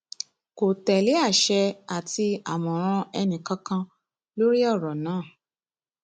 kò tẹlé àṣẹ àti àmọràn ẹnìkankan lórí ọrọ náà